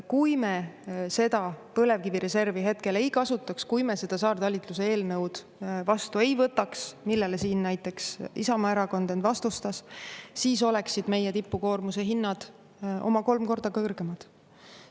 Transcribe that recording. Kui me seda põlevkivireservi hetkel ei kasutaks, kui me seda saartalitluse eelnõu vastu ei võtaks, millele siin näiteks Isamaa erakond end vastustas, siis oleksid meie tipukoormuse hinnad oma kolm korda kõrgemad.